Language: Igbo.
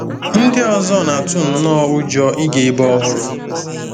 Ndị ọzọ na-atụ nnọọ ụjọ ịga ebe ọhụrụ.